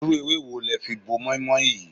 Irú ewé wo le fi bo mọ́í-mọ́í yìí?